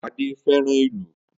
Ade fẹ́ràn ìlù